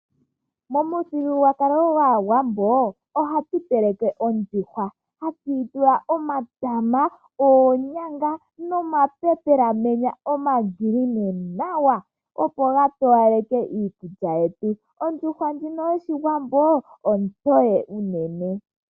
Momuthigululwakalo gwaawambo ohatu teleke ondjuhwa tatu yitula omatama, oonyanga niikwamboga ndjiya iizize nawa opo gatowaleke iikulya yetu. Ondjuhwa ndjino yoshiwambo ontoye unene.